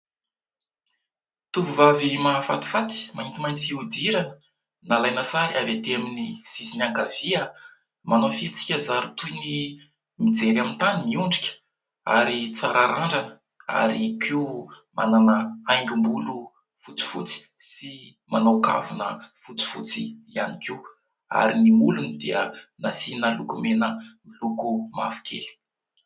Tovovavy mahafatifaty maintimainty fihodirana, nalaina sary avy aty amin'ny sisiny ankavia. Manao fihetsika zary toy ny mijery amin'ny tany miondrika ary tsara randrana, ary koa manana haingom-bolo fotsifotsy sy manao kavina fotsifotsy ihany koa; ary ny molony dia nasiana lokomena miloko mavokely.